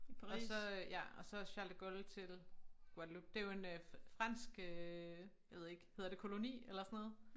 Og så ja og så Charles de Gaulle til Guadeloupe det jo en øh fransk øh jeg ved ikke hedder det koloni eller sådan noget?